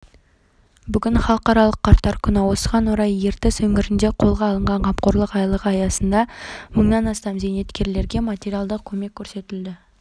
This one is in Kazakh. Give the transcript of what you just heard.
бүгін халықаралық қарттар күні осыған орай ертіс өңірінде қолға алынған қамқорлық айлығы аясында мыңнан астам зейнеткерге материалдық көмек көрсетілді